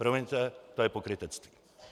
Promiňte, to je pokrytectví!